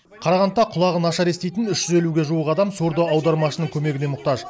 қарағандыда құлағы нашар еститін үш жүз елуге жуық адам сурдоаудармашының көмегіне мұқтаж